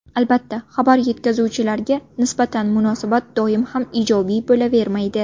Albatta, xabar yetkazuvchilarga nisbatan munosabat doim ham ijobiy bo‘lavermaydi.